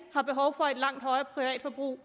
langt højere privatforbrug